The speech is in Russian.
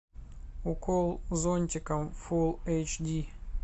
укол зонтиком фул эйч ди